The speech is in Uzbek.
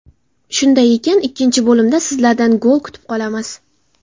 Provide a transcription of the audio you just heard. Shunday ekan, ikkinchi bo‘limda sizlardan gol kutib qolamiz!